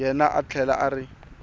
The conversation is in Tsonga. yena a tlhela a ri